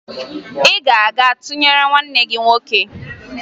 Ị ga-aga tụnyere nwanne m nwoke!